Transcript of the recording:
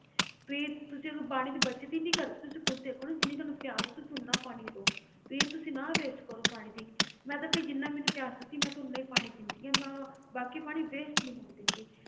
ਵੀ ਤੁਸੀਂ ਅਗਰ ਪਾਣੀ ਦੀ ਬਚਤ ਨੀ ਕਰਦੇ ਤੁਸੀਂ ਖੁੱਦ ਦੇਖੋ ਨਾ ਜਿੰਨੀ ਤੁਹਾਨੂੰ ਪਿਆਸ ਹੈ ਤੁਸੀਂ ਉੱਨਾ ਪਾਣੀ ਲਓ, ਵੀ ਤੁਸੀਂ ਨਾ waste ਕਰੋ ਪਾਣੀ ਦੀ, ਮੈਂ ਤਾਂ ਭਾਈ ਜਿੰਨਾ ਮੈਨੂੰ ਪਿਆਸ ਲੱਗਦੀ ਮੈਂ ਤਾਂ ਓਨਾ ਹੀ ਪਾਣੀ ਪੀਂਦੀ ਹਾਂ ਮੈਂ ਬਾਕੀ ਪਾਣੀ waste ਨੀ ਹੋਣ ਦਿੰਦੀ।